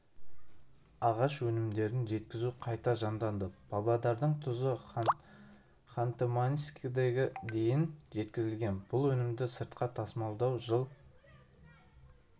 ағаш өнімдерін жеткізу қайта жанданды павлодардың тұзы ханты-мансийскіге дейін жеткізілген бұл өнімді сыртқа тасымалдау жыл